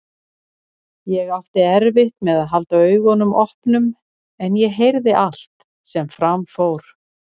Ég átti erfitt með að halda augunum opnum en ég heyrði allt sem fram fór.